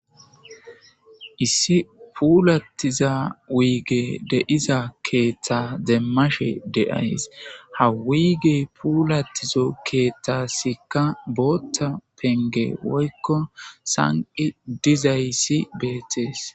Issi puulatiza wuygey de'iza keeththa demmashe de'ays ha puulatiza keeththasika booththa pengey woyiko saniki dizayis betees.